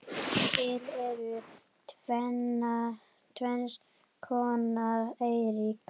Til eru tvenns konar eyríki